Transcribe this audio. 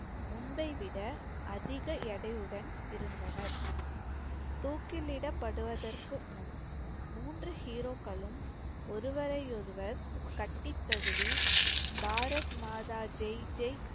முன்பை விட அதிக எடையுடன் இருந்தனர் தூக்கிலிடப்படுவதற்கு முன் மூன்று hero க்களும் ஒருவரையொருவர் கட்டித் தழுவி பாரத் மாதா ஜெய் ஜெய்